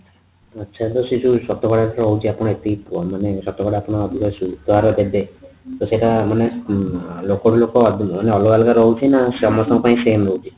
ଆଚ୍ଛା ସେ ଯୋଉ ଶତକଡା ରହୁଛି ଏତିକି ମାନେ ଶତକଡା ଆପଣ ସୁଧହାର ଦେବେ ତ ସେଟା ମାନେ ଲୋକ ରୁ ଲୋକ ମାନେ ଅଲଗା ଅଲଗା ରୁ ରହୁଛି ନା ସମସ୍ତଙ୍କ ପାଇଁ same ରହୁଛି